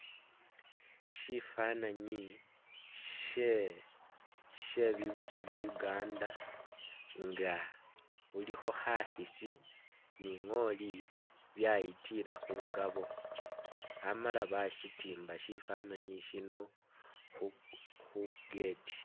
Shifananyi she bibusi bya Uganda nga bulikho kha khisi ni ngoli byayitila khungabo amala bashitimba shifananyi shino khu gate.